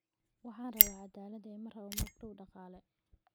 Waxaan rabaa cadaalad ee ma rabo magdhow dhaqaale